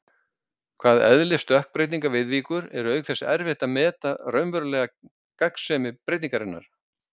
hvað eðli stökkbreytinga viðvíkur, er auk þess erfitt að meta raunverulega gagnsemi breytingarinnar.